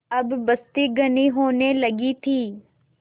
अब बस्ती घनी होने लगी थी